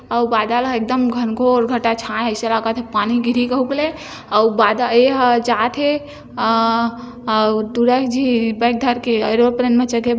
अउ बादल है एकदम घंगोर घटा छाये हे ऐसा लगथे पानी गिरही कहुक ले आऊ बादल एहा जात है अ अ टूरा झी बैग धर के एरोप्लेन मे-- ।